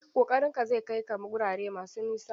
Ƙoƙarinka zai kai ka wurare masu nisa.